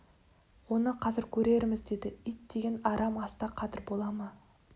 оны қазір көрерміз деді ит тиген арам аста қадір бола ма